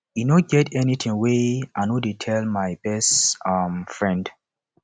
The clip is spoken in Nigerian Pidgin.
e no get anything wey i no dey tell my best um friend